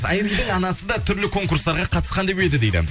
айридің анасы да түрлі конкурстарға қатысқан деп еді дейді